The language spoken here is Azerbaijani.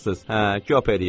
Hə, köp eləyirsən.